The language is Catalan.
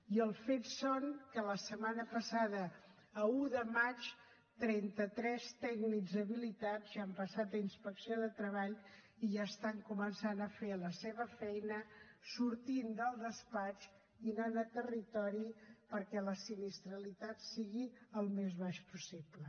i els fets són que la setmana passada a un de maig trenta tres tècnics habilitats ja han passat a inspecció de treball i ja estan començant a fer la seva feina sortint del despatx i anant a territori perquè la sinistralitat sigui la més baixa possible